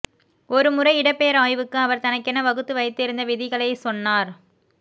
ஒருமுறை இடப்பெயர் ஆய்வுக்கு அவர் தனக்கென வகுத்து வைத்திருந்த விதிகளைச் சொன்னார்